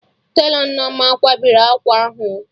Telọ Nneoma kwabiri akwa ahụ o